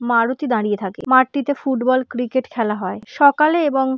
মারুতি দাঁড়িয়ে থাকে মাঠটিতে ফুটবল ক্রিকেট খেলা হয়। সকালে এবং--